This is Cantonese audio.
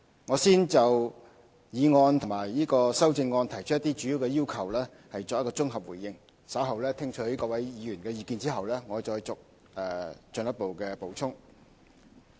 我先綜合回應議案及修正案提出的一些主要要求，稍後在聽取各位議員的意見後我會再作進一步補充。